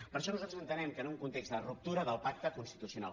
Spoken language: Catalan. per això nosaltres entenem que en un context de ruptura del pacte constitucional